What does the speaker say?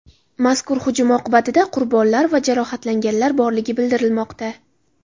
Mazkur hujum oqibatida qurbonlar va jarohatlanganlar borligi bildirilmoqda.